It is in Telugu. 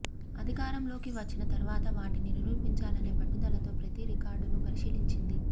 అధికారంలోకి వచ్చిన తర్వాత వాటిని నిరూపించాలనే పట్టుదలతో ప్రతీ రికార్డునూ పరిశీలించింది